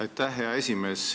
Aitäh, hea esimees!